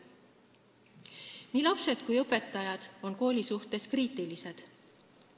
Nii lapsed kui ka õpetajad on kooli suhtes kriitilised.